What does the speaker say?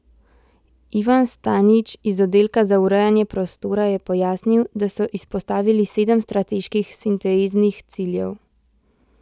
Ivan Stanič iz oddelka za urejanje prostora je pojasnil, da so izpostavili sedem strateških sinteznih ciljev.